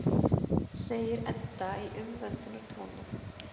segir Edda í umvöndunartóni.